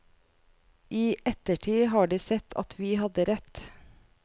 I ettertid har de sett at vi hadde rett.